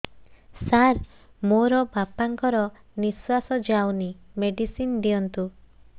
ସାର ମୋର ବାପା ଙ୍କର ନିଃଶ୍ବାସ ଯାଉନି ମେଡିସିନ ଦିଅନ୍ତୁ